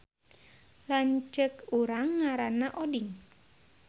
Lanceuk urang ngaranna Oding